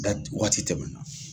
wagati tɛmɛ na